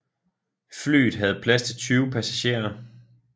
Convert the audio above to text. Flyet havde plads til 20 passagerer